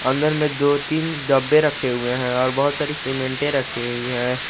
अंदर में दो तीन डब्बे रखे हुए हैं और बहोत सारी सीमेंटे रखी हुई हैं।